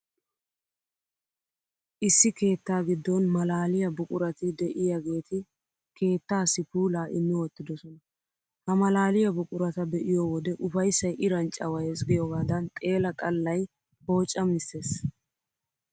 Issi keettaa giddon malaaliyaa buqurati de'iyaageeti keettaassi puulaa lmmi wottidosona. Ha malaaliyaa buqurata be'iyo wode ufayssay Iran cawayees giyoogaadan xeela xallay poocamissees.